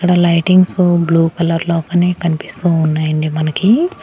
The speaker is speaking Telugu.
ఇక్కడ లైటింగ్సు బ్లూ కలర్ లో కానీ కనిపిస్తూ ఉన్నాయండి మనకి.